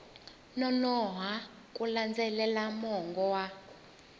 nonoha ku landzelela mongo wa